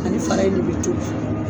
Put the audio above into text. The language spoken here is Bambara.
Ani fara in de be tobi.